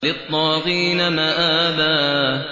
لِّلطَّاغِينَ مَآبًا